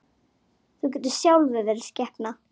Þú getur sjálfur verið skepna!